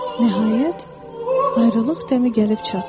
Nəhayət ayrılıq dəmi gəlib çatdı.